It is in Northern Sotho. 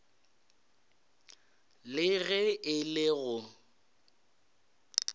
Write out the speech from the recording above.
le ge e le go